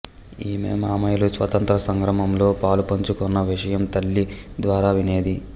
ఈమె మామయ్యలు స్వాతంత్ర్య సంగ్రామంలో పాలుపంచుకొన్న విషయం తల్లి ద్వారా వినేది